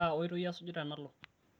kaa oitoi asuj tenalo?